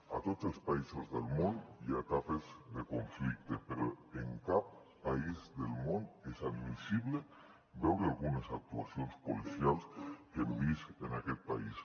a tots els països del món hi ha etapes de conflicte però en cap país del món és admissible veure algunes actuacions policials que hem vist en aquest país